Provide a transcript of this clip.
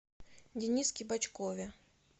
дениске бочкове